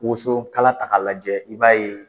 Wosokala ta k'a lajɛ i b'a ye